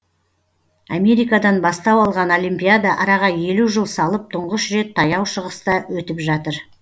америкадан бастау алған олимпиада араға елу жыл салып тұңғыш рет таяу шығыста өтіп жатыр